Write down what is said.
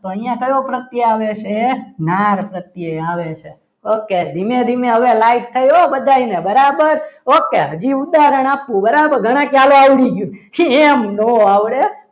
અહીંયા કયો પ્રત્યે આવે છે નાર પ્રત્યય આવે છે ઓકે ધીમે ધીમે હવે light થઈ હો બધાને બરાબર okay હજી ઉદાહરણ આપો okay ઘણા કે ચાલો આવડી ગયું એમ ન આવડે